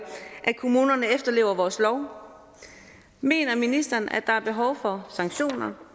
at kommunerne efterlever vores lov mener ministeren at der er behov for sanktioner